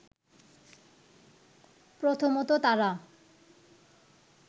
প্রথমত তারা